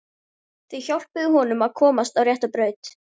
Þau hjálpuðu honum að komast á rétta braut.